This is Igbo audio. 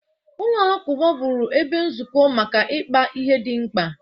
Ụlọ alakụba bụrụ ha ebe nzukọ maka ịkpa ihe dị mkpa.